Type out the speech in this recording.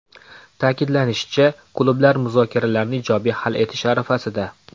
Ta’kidlanishicha, klublar muzokaralarni ijobiy hal etish arafasida.